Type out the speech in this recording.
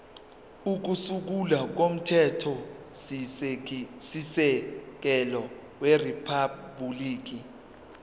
kokusungula komthethosisekelo weriphabhuliki